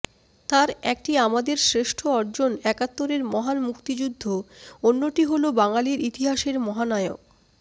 তার একটি আমাদের শ্রেষ্ঠ অর্জন একাত্তরের মহান মুক্তিযুদ্ধ অন্যটি হলো বাঙালির ইতিহাসের মহানায়ক